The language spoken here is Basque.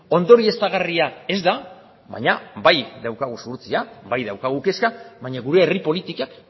ondorioztagarria ez da baina bai daukagu zuhurtzia bai daukagu kezka baina gure herri politikak